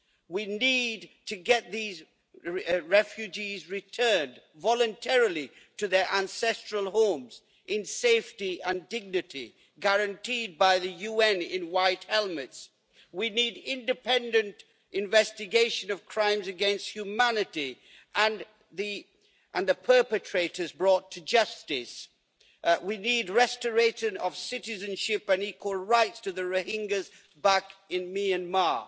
We need to get these refugees returned voluntarily to their ancestral homes in safety and dignity guaranteed by the UN in white helmets. We need independent investigation of crimes against humanity and the perpetrators brought to justice. We need restoration of citizenship and equal rights to the Rohingyas back in Myanmar.